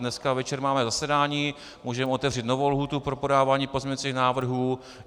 Dneska večer máme zasedání, můžeme otevřít novou lhůtu pro podávání pozměňovacích návrhů.